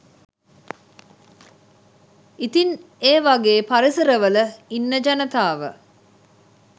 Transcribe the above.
ඉතින් ඒවගේ පරිසරවල ඉන්න ජනතාව